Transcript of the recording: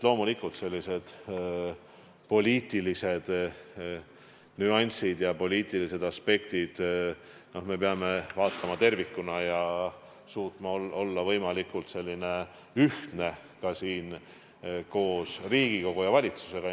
Loomulikult, me peame suutma vaadata selliseid poliitilisi nüansse ja aspekte tervikuna ning olema võimalikult ühtsed Riigikogus ja valitsuses.